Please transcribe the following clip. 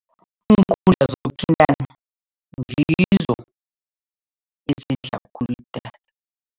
Iinkundla zokuthintana ngizo ezidla khulu idatha.